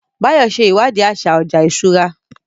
Báyọ̀ ṣe ìwádìí àṣà ọjà ìṣúra